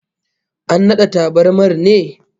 An nade tabarmar ne?